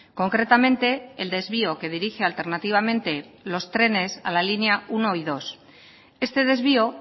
concretamente el desvío que dirige alternativamente los trenes a la línea uno y dos este desvío